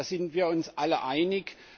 Da sind wir uns alle einig.